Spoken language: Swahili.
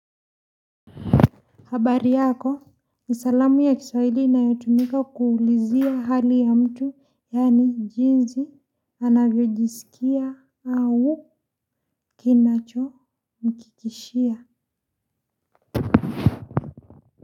Habari yako ni salamu ya kiswahili inayotumika kuulizia hali ya mtu yani jinsi anavyojisikia au kinachomkikishia.